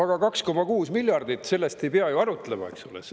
Aga 2,6 miljardit – sellest ei pea ju arutlema.